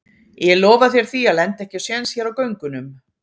Ég lofa þér því að lenda ekki á séns hér á göngunum.